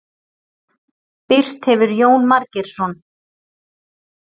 Birt hefur Jón Margeirsson.